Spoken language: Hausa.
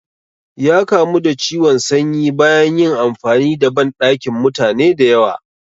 Ya kamu da ciwon sanyi bayan yin amfani da banɗakin mutane da yawa